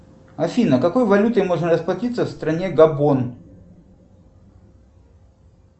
афина какой валютой можно расплатиться в стране габон